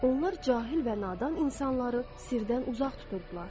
Onlar cahil və nadan insanları sirdən uzaq tuturdular.